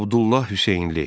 Abdullah Hüseynli.